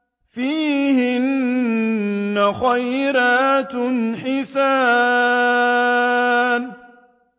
فِيهِنَّ خَيْرَاتٌ حِسَانٌ